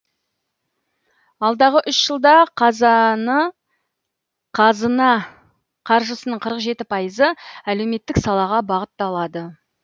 алдағы үш жылда қазына қаржысының қырық жеті пайызы әлеуметтік салаға бағытталады